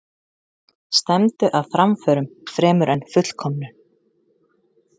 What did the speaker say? Stefndu að framförum fremur en fullkomnun.